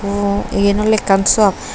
ej eyan oley ekkan shop.